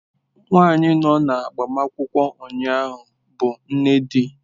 Nwanyị nọ na agbamakwụkwọ ụnyaahụ bụ nne di.